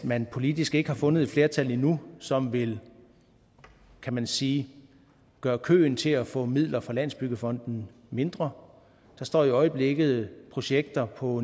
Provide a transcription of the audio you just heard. man politisk ikke har fundet et flertal endnu som vil kan man sige gøre køen til at få midler fra landsbyggefonden mindre der står i øjeblikket projekter på